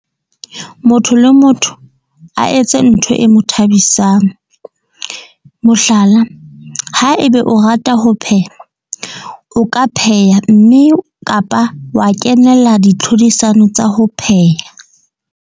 Motho le motho a etse ntho e mo thabisang. Mohlala, ha ebe o rata ho pheha, o ka pheha, mme kapa wa kenela ditlhodisano tsa ho pheha.